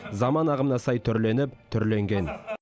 заман ағымына сай түрленіп түрленген